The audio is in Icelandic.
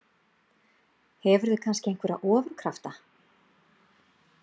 Hefurðu kannski einhverja ofurkrafta?